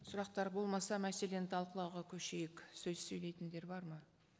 сұрақтар болмаса мәселені талқылауға көшейік сөз сөйлейтіндер бар ма